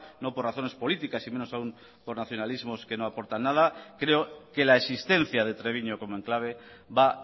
no por razones políticas y menos aún por nacionalismos que no aportan nada creo que la existencia de treviño como enclave va